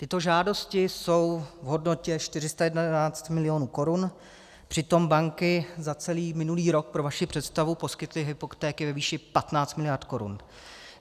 Tyto žádosti jsou v hodnotě 411 milionů korun, přitom banky za celý minulý rok, pro vaši představu, poskytly hypotéky ve výši 15 miliard korun.